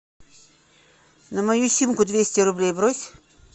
на мою симку двести рублей брось